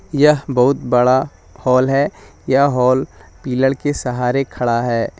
यह बहुत बड़ा हॉल है यह हॉल पिलर के सहारे खड़ा है।